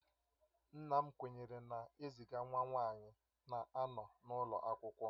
Nna m kwenyere na eziga nwa nwanyi na-anọ n'ulo akwụkwọ